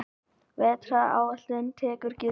Vetraráætlun tekur gildi